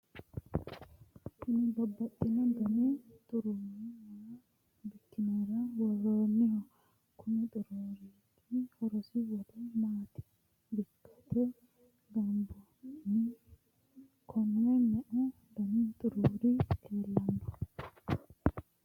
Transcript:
kuni babbaxino dani xuruuri maa bikkinara worroonniho? konni xuruuriti horosi wole maati bikkate gobbaanni? konne meu dani xuruuri leellanno ?